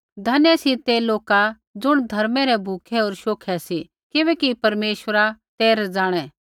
धन्य सी ते लोका ज़ुण धर्मै रै भूखै हो शोखे सी किबैकि परमेश्वर तै रज़ाणै